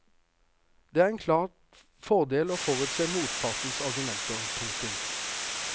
Det er en klar fordel å forutse motpartens argumenter. punktum